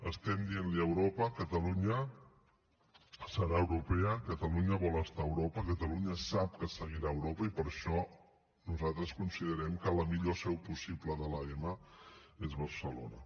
estem dient li a europa catalunya serà europea catalunya vol estar a europa catalunya sap que seguirà a europa i per això nosaltres considerem que la millor seu possible de l’ema és barcelona